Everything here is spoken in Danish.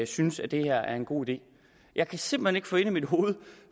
synes at det her er en god idé jeg kan simpelt hen ikke få ind i mit hoved